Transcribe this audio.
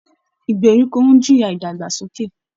Ìgbèríko ń jìyà ìdàgbàsókè